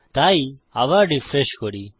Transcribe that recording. তাই আবার রিফ্রেশ করি